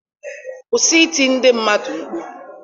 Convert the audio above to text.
Kwụsị ịti ndị mmadụ mkpu.